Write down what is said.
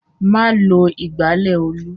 Má lo ìgbálẹ̀ Olú!